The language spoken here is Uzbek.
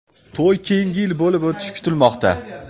To‘y keyingi yil bo‘lib o‘tishi kutilmoqda.